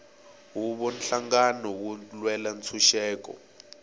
huvo nhlangano wo lwela ntshuxeko